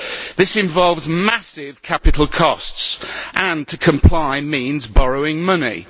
This involves massive capital costs and to comply means borrowing money.